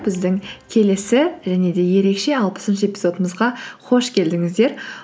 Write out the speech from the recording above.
біздің келесі және де ерекше алпысыншы эпизодымызға қош келдіңіздер